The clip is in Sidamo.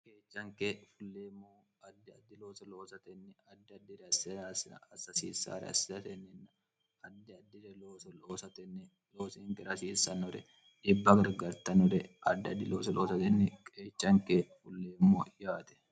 keechanke fulleemmo addi addioo oostnni adi dir sser sin asssissre assitenninn addi addire o ostnni loosinke rasiissannore dhibba gargartanore addi ddilooostnni qeechanke fulleemmo yaate